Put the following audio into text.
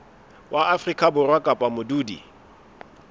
wa afrika borwa kapa modudi